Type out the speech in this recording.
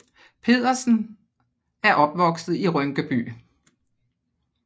Pedersen og er opvokset i Rynkeby